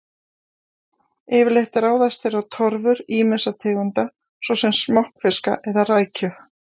Yfirleitt ráðast þeir á torfur ýmissa tegunda, svo sem smokkfiska eða rækju.